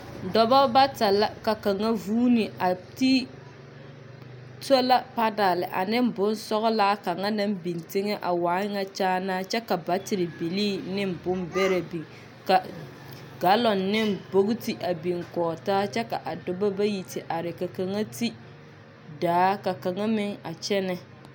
dɔba bata la ka kaŋa vũũni a ti sola panal ane bonsɔgelaa kaŋa naŋ biŋ teŋ1 a waa nyɛ kyaanaa kya baatere bilii ne bombɛrɛ biŋ ka galɔŋ ne bogiti a biŋ kɔge taa kyɛ ka dɔba bayi te are ka kaŋa ti daa ka kaŋa meŋ a kyɛnɛ.